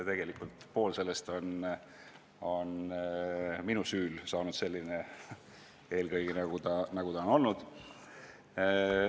Tegelikult on pool sellest perioodist minu süül selline, nagu see on olnud.